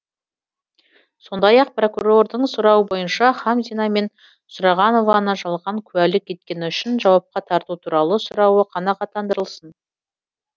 сондай ақ прокурордың сұрауы бойынша хамзина мен сұрағанованы жалған куәлік еткені үшін жауапқа тарту туралы сұрауы қанағаттандырылсын